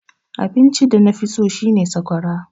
Abinci da nafi so shine sakwara.